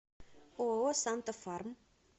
ооо санта фарм